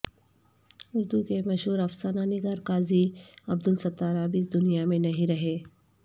اردو کے مشہور افسانہ نگار قاضی عبدالستار اب اس دنیا میں نہیں رہے